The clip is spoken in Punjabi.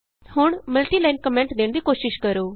ਹੁਣ ਮਲਟੀਲਾਈਨ ਕੋਮੈਂਟ ਦੇਣ ਦੀ ਕੋਸ਼ਿਸ਼ ਕਰੋ